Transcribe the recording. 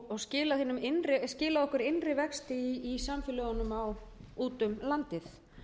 og skilað okkur innri vexti í samfélögunum úti um landið